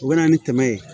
U bɛ na ni dɛmɛ ye